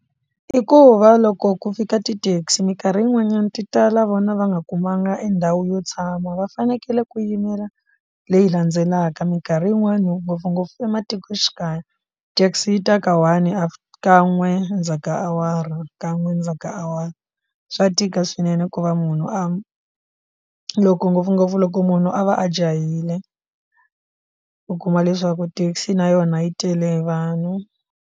I ku va loko ku fika ti taxi minkarhi yin'wanyana ti tala vona va nga kumanga endhawu yo tshama va fanekele ku yimela leyi landzelaka minkarhi yin'wani ngopfungopfu ematikoxikaya taxi ta ka one kan'we ndzhaku ka awara kan'we ndzhaku ka awara swa tika swinene ku va munhu a loko ngopfungopfu loko munhu a va a jahile u kuma leswaku taxi na yona yi tele vanhu.